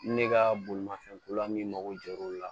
Ne ka bolimafɛn ko la min mago jɔr'o la